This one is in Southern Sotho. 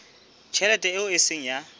tjhelete eo e seng ya